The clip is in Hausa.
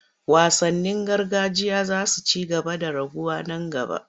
Wasannin gargajiya za su ci gaba da raguwa nan gaba.